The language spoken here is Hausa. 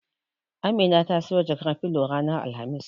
Amina ta siyo jakar filo ranar Alhamis.